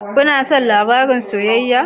Kuna son labarun soyayya?